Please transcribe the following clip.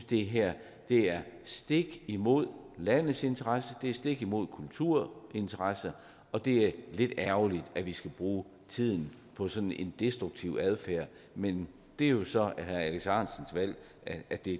det her er stik imod landets interesser det er stik imod kulturinteresser og det er lidt ærgerligt at vi skal bruge tid på sådan en destruktiv adfærd men det er jo så herre alex ahrendtsens valg at det